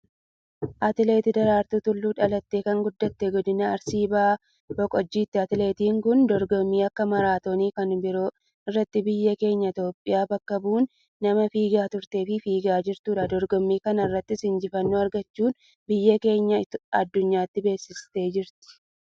Atileet Daraartuu Tulluu, dhalattee kan guddatte, Godina Arsii Bahaa Boqojjiitti. Atileettin kun, dorgommii akka maaraatooniifi kan biroo irratti biyya keenya Itiyoophiyaa bakka bu' uun nama fiigaa turteefi fiigaa jirtuudha. Dorgommii kanarrattis, injifannoo argachuun, biyya keenya aduunyaatti beeksisteerti.